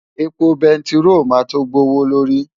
Epo bẹntiró máa tó gbé owó lórí.